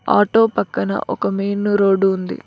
Auto పక్కన ఒక main road ఉంది.